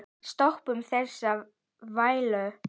Stoppum þessa þvælu.